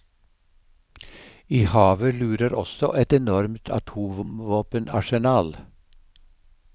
I havet lurer også et enormt atomvåpenarsenal.